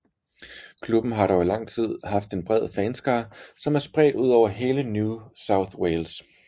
Klubben har dog i lang tid haft en bred fanskare som er spredt over hele New South Wales